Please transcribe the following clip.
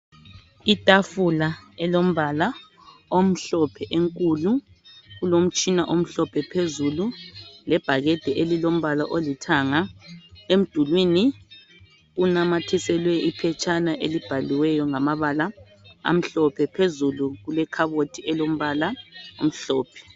Itafula elombala omhlophe enkulu kulomtshina omhlophe phezulu lebhakede elilombala olithanga emdulwini kunamathiselwe iphetshana elibhaliweyo ngamabala amhlophe phezulu kulekhabothi elombala omhlophe